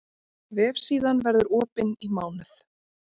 Vefsíðan verður opin í mánuð